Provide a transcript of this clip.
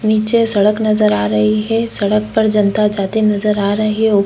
निचे सड़क नज़र आ रही है सड़क पर जनता जाते नज़र आ रही है ऊपर--